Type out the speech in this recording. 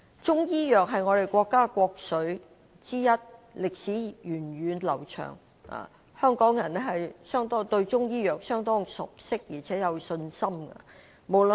中醫藥是我國國粹之一，歷史源遠流長，香港人對中醫藥是相當熟悉而且有信心的。